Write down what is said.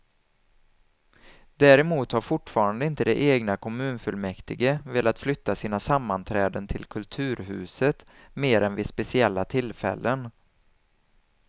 Däremot har fortfarande inte det egna kommunfullmäktige velat flytta sina sammanträden till kulturhuset mer än vid speciella tillfällen.